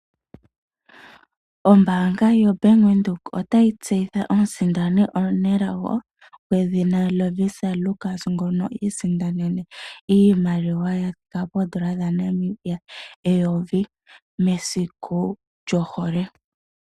Ombaanga yoBank Windhoek ota yi tseyitha omusindani omunelago gwedhina Lovisa Lukas ngono iisindanene iimaliwa ya thika poondola dhaNamibia eyovi mesiku lyohole.